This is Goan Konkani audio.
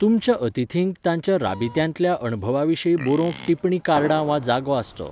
तुमच्या अतिथींक तांच्या राबित्यांतल्या अणभवा विशीं बरोवंक टिप्पणी कार्डां वा जागो आसचो.